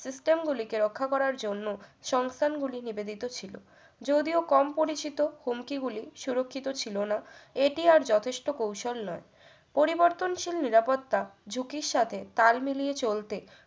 system গুলি কে রক্ষা করার জন্য সংস্থানগুলি নিবেদিত ছিল যদিও কম পরিচিত হুমকি গুলি সুরক্ষিত ছিল না এটি আর যথেষ্ঠ কৌশল নয় পরিবর্তনশীল নিরাপত্তা ঝুঁকির সাথে তাল মিলিয়ে চলতে